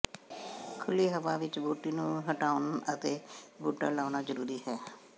ਖੁੱਲ੍ਹੀ ਹਵਾ ਵਿਚ ਬੂਟੀ ਨੂੰ ਹਟਾਉਣ ਅਤੇ ਬੂਟਾ ਲਾਉਣਾ ਜ਼ਰੂਰੀ ਹੈ